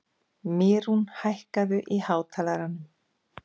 Mýrún, hækkaðu í hátalaranum.